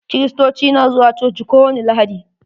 Kirirstoci na zuwa coci ko wani lahadi.